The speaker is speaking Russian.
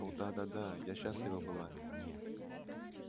о да да я счастлива была